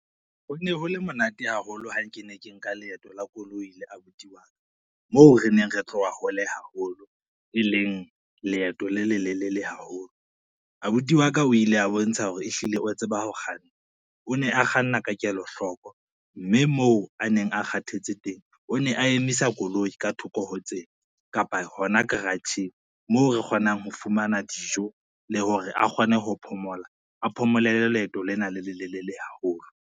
Ho ne ho le monate haholo ha ke ne ke nka leeto la koloi le abuti wa ka, moo re neng re tloha hole haholo, e leng leeto le lelelele haholo. Abuti wa ka o ile a bontsha hore ehlile o tseba ho kganna, o ne a kganna ka kelohloko mme moo a neng a kgathetse teng, o ne a emisa koloi ka thoko ho tsela kapa hona karatjheng moo re kgonang ho fumana dijo le hore a kgone ho phomola a phomolele leeto lena le lelelele haholo.